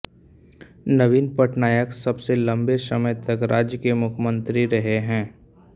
नवीन पटनायक सबसे लम्बे समय तक राज्य के मुख्यमंत्री रहे हैं